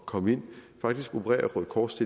komme ind faktisk opererer røde kors